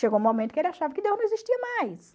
Chegou um momento que ele achava que Deus não existia mais.